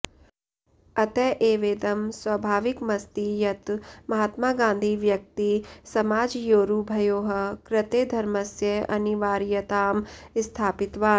अत एवेदं स्वाभाविकमस्ति यत् महात्मा गान्धी व्यक्तिसमाजयोरुभयोः कृते धर्मस्य अनिवार्यतां स्थापितवान्